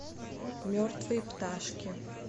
мертвые пташки